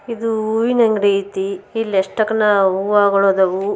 ಇದು ಹೂವಿನ ಅಂಗಡಿ ಐತತಿ ಇಲ್ಲಿ ಯಷ್ಟ್ಯಾಕ್ನ ಹೂಗಳ್ ಅದವು.